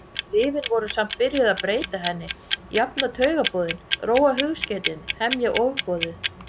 Lyfin voru samt byrjuð að breyta henni, jafna taugaboðin, róa hugskeytin, hemja ofboðið.